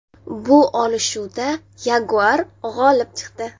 Bu olishuvda yaguar g‘olib chiqdi.